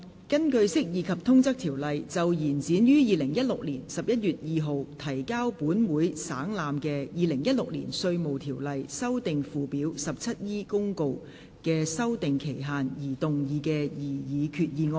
根據《釋義及通則條例》就延展於2016年11月2日提交本會省覽的《2016年稅務條例公告》的修訂期限而動議的擬議決議案。